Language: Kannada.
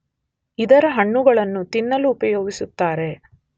ಇದರ ಹಣ್ಣುಗಳನ್ನು ತಿನ್ನಲು ಉಪಯೋಗಿಸುತ್ತಾರೆ.